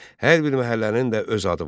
Hər bir məhəllənin də öz adı vardı.